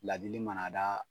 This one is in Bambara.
Ladili mana daa